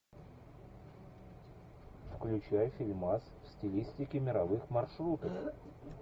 включай фильмас в стилистике мировых маршрутов